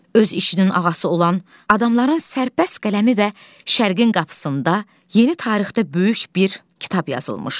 Öz işinin ağası olan adamların sərbəst qələmi və şərqin qapısında yeni tarixdə böyük bir kitab yazılmışdı.